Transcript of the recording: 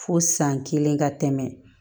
Fo san kelen ka tɛmɛ